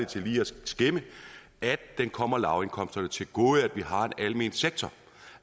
til lige at skimme at det kommer lavindkomsterne til gode at vi har en almen sektor